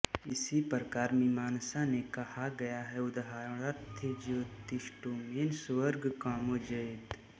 इसी प्रकार मीमांसा में कहा गया है उदाहरणार्थ ज्योतिष्टोमेन स्वर्ग कामो यजेत